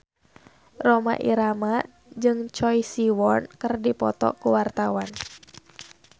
Rhoma Irama jeung Choi Siwon keur dipoto ku wartawan